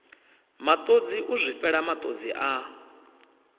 matodzi u zwifhela matodzi a